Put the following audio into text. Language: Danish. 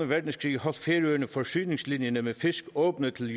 verdenskrig holdt færøerne forsyningslinjer med fisk åbne til